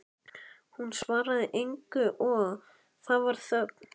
Hún svaraði engu og það varð þögn.